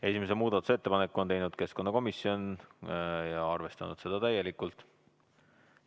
Esimese muudatusettepaneku on teinud keskkonnakomisjon ja on arvestanud seda täielikult.